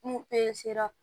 N'u ra